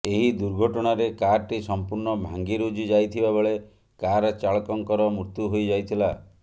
ଏହି ଦୁର୍ଘଟଣାରେ କାରଟି ସମ୍ପୂର୍ଣ୍ଣ ଭାଙ୍ଗିରୁଜି ଯାଇଥିବାବେଳେ କାର ଚାଳକଙ୍କର ମୃତ୍ୟୁ ହୋଇଯାଇଥିଲା